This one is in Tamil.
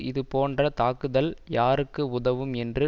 இது போன்ற தாக்குதல் யாருக்கு உதவும் என்று